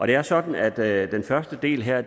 det er sådan at den første del her